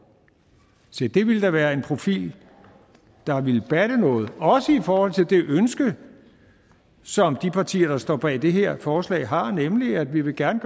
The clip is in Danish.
se det ville da være en profil der ville batte noget også i forhold til det ønske som de partier der står bag det her forslag har nemlig at vi gerne